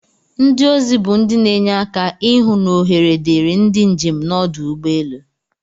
Ndi ozi bu ndi n'enye aka ihụ n'ohere diri ndi njem nọdụ ugbọ elu.